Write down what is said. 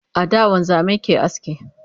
a da wanzamai ke aske